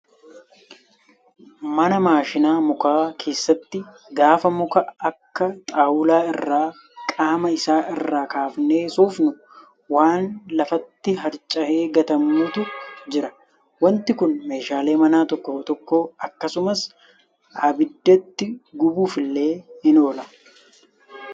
Mana maashina mukaa keessatti gaafa muka akka xaawulaa irraa qaama isaa irraa kaafnee soofnu waan lafatti harca'ee gatamutu Jira. Wanti Kun meeshaalee manaa tokko tokko akkasumas abiddatti gubuuf illee ni oola